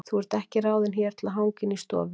Þú ert ekki ráðin hér til að hanga inni í stofu.